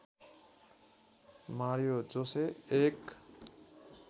Mario Jose एक